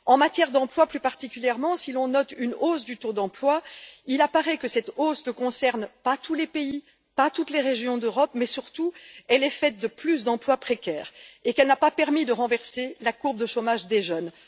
En matière d'emploi plus particulièrement, si l'on note une hausse du taux d'emploi, il apparaît néanmoins que cette hausse ne concerne pas tous les pays, ni toutes les régions d'Europe. On note surtout qu'elle s'accompagne de plus d'emplois précaires et n'a pas permis de renverser la courbe de chômage des jeunes.